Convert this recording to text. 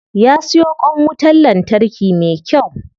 Ya siyo kwan wutan lantarki me kyau.